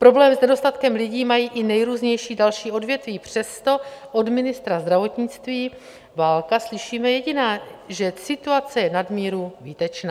Problém s nedostatkem lidí mají i nejrůznější další odvětví, přesto od ministra zdravotnictví Válka slyšíme jediné, že situace je nadmíru výtečná.